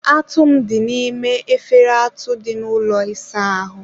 atụ m dị n'ime efere atụ dị n'ụlọ ịsa ahụ.